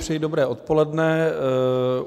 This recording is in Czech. Přeji dobré odpoledne.